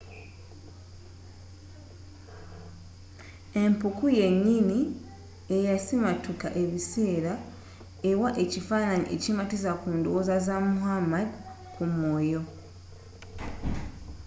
empuku yennyini eyasimattuka ebiseera ewa ekifaananyi ekimatizza ku ndowooza za muhammad ku mwoyo